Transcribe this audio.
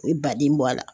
U ye baden bɔ a la